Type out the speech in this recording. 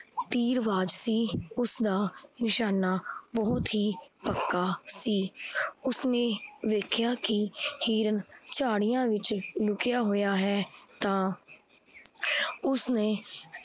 ਤੀਰਬਾਜ ਸੀ। ਉਸ ਦਾ ਨਿਸ਼ਾਨਾ ਬਹੁਤ ਹੀ ਪੱਕਾ ਸੀ। ਉਸ ਨੇ ਵੇਖਿਆ ਕੀ ਹਿਰਨ ਚਾੜਿਆ ਵਿੱਚ ਲੁਕਿਆ ਹੋਏਆ ਹੈ ਤਾਂ ਉਸਨੇ